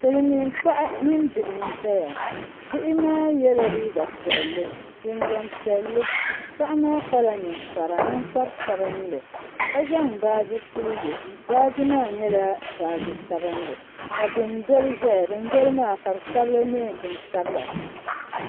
Silmiin paɣa mini bihi n ʒɛya bihi maa yɛla liiga piɛlli jinjɛm piɛlli paɣa maa kpala ninkpara ninkpari sabinli ka zaŋ baaji puli yɛ baaji maa nyɛla baaji sabinli ka dundoli ʒɛya dundoli maa ka bi sabili bin sabila